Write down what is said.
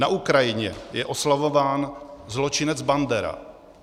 Na Ukrajině je oslavován zločinec Bandera.